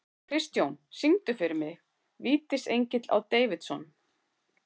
Kristjón, syngdu fyrir mig „Vítisengill á Davidson“.